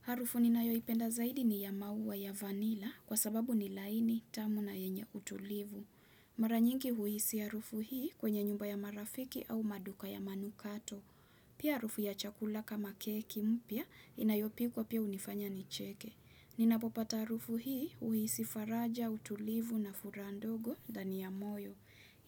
Harufu ninayoipenda zaidi ni ya maua ya vanila kwa sababu ni laini tamu na yenye utulivu. Mara nyingi huhisi harufu hii kwenye nyumba ya marafiki au maduka ya manukato. Pia harufu ya chakula kama keki mpya inayopikwa pia hunifanya nicheke. Ninapopata harufu hii huhisi faraja utulivu na furaha ndogo ndani ya moyo.